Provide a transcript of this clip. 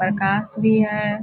प्रकाश भी है ।